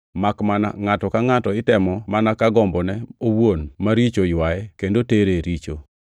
makmana ngʼato ka ngʼato itemo mana ka gombone owuon maricho oywaye kendo tere e richo.